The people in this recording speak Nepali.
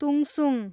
तुङसुङ